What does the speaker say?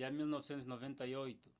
ya 1998